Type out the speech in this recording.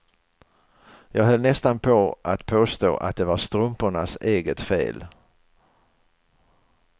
Jag höll nästan på att påstå att det var strumpornas eget fel.